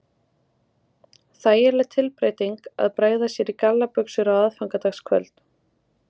Þægileg tilbreyting að bregða sér í gallabuxur á aðfangadagskvöld